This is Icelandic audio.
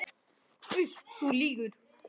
Uss, þú lýgur.